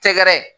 Tɛgɛrɛ ye